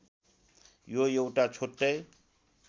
यो एउटा छुट्टै